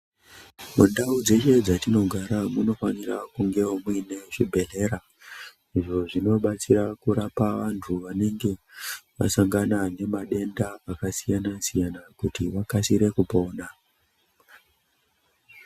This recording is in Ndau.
Mundau dzeshe dzatinogara muno fani rwawo kuti munge mune zvi bhedhleya izvi zvino batsira kurapa vantu vanenge vasangana nema denda aka siyana siyana kuti vakasire kupona.